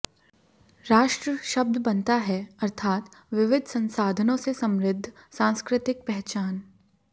राष्ट्र शब्द बनता है अर्थात विविध संसाधनों से समृद्ध सांस्कृतिक पहचान